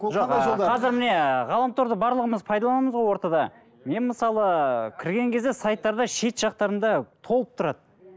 жоқ ы қазір міне ғаламторды барлығымыз пайдаланамыз ғой ортада мен мысалы кірген кезде сайттарда шет жақтарында толып тұрады